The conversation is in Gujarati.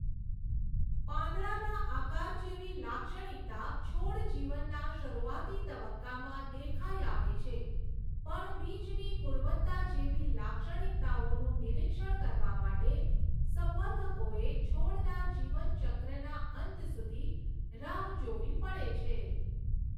પાંદડાના આકાર જેવી લાક્ષણિકતા છોડ જીવનના શરૂઆતી તબક્કામાં દેખાઈ આવે છે, પણ બીજની ગુણવત્તા જેવી લાક્ષણિકતાઓનું નિરિક્ષણ કરવા માટે સંવર્ધકોએ છોડના જીવન ચક્રના અંત સુધી રાહ જોવી પડે છે.